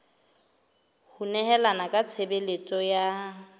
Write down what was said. ho nehelana ka tshebeletso ya